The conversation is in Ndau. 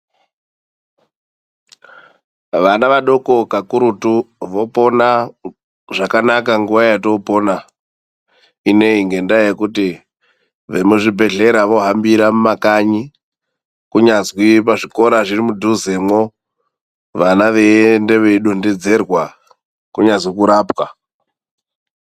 Vana vadoko kakurutu vopona zvakanaka nguwa yetoopona inei, ngendaa yekuti vemuzvibhedhlera vohambira mumakanyi, kunyazwi muzvikora zviri mudhuzemwo. Vana veiende veidondedzerwa, kunyazi kurapwa.